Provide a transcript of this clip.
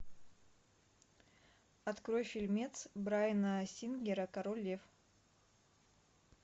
открой фильмец брайана сингера король лев